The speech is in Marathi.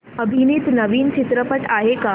अभिनीत नवीन चित्रपट आहे का